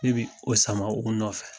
Ne be o sama u nɔfɛ.